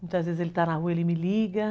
Muitas vezes ele está na rua, ele me liga.